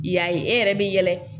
I y'a ye e yɛrɛ bi yɛlɛ